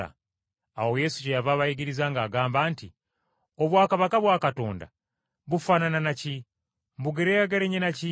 Awo Yesu kyeyava abayigiriza ng’agamba nti, “Obwakabaka bwa Katonda bufaanana na ki? Mbugeraageranye na ki?